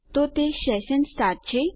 તો તે session start છે